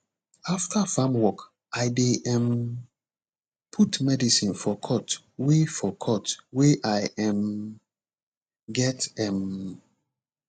after farm work i dey um put medicine for cut wey for cut wey i um get um